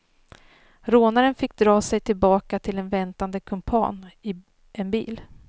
Rånaren fick dra sig tillbaka till en väntande kumpan i en bil.